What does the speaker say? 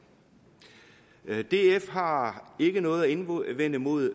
df har ikke noget at indvende imod